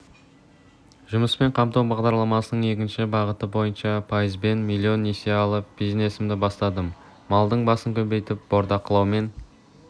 жұмыспен қамту бағдарламасының екінші бағыты бойынша пайызбен миллион несие алып бизнесімді бастадым малдың басын көбейтіп бордақылаумен